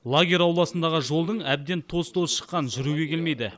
лагерь ауласындағы жолдың әбден тоз тозы шыққан жүруге келмейді